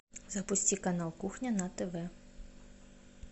запусти канал кухня на тв